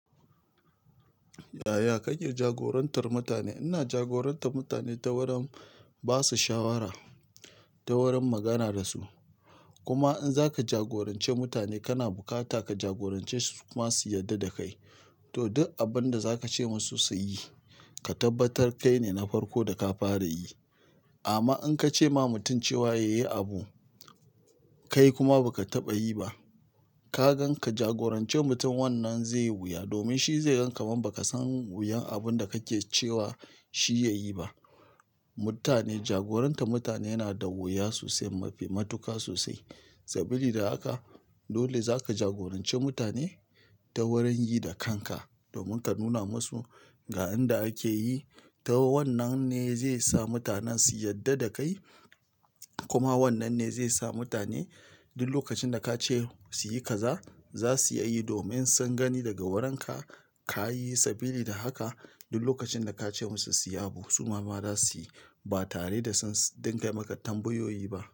Yaya kake jagorantar mutane? Ina jagorantar mutane ta wurin ba su shawara, ta wurin magana da su. Kuma in za ka jagoranci mutane, kana bukata ka jagorance su kuma su yarda da kai. To, duk abin da za ka ce musu su yi, ka tabbatar kai ne na farko da ka fara yi. Amma in ka ce ma mutum cewa yayi abu, kai kuma ba ka taɓa yi ba, ka gan ka jagoranci mutum wannan zai yi wuya. Domin shi zai gan ka man ba ka san wuyan abun da kake cewa shi yayi ba. Mutane, jagoranta mutane yana da wuya sosai, mafi matuka sosai. Sabili da haka, dole za ka jagoranci mutane ta wurin yi da kanka, domin ka nuna musu ga inda ake yi. To, wannan ne zai sa mutanen su yarda da kai. Kuma wannan ne zai sa mutane duk lokacin da ka ce su yi kaza, za su iya yi domin sun gani daga wurin ka, ka yi. Sabili da haka, duk lokacin da ka ce musu su yi abu, su ma ma za su yi ba tare da sun dinga yi maka tambayoyi ba.